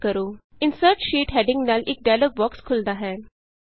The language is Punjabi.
insert sheet insert sheet heading ਨਾਲ ਇਕ ਡਾਇਲੌਗ ਬੋਕਸ ਖੁੱਲ੍ਹਦਾ ਹੈ